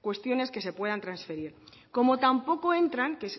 cuestiones que se puedan transferir como tampoco entran que